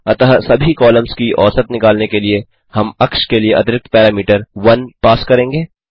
अतः सभी कॉलम्स की औसत निकलने के लिए हम अक्ष के लिए अतिरिक्त पैरामीटर 1 पास करेंगे